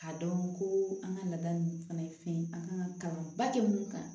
K'a dɔn ko an ka laada ninnu fana ye fɛn ye an kan ka kalan ba kɛ mun kan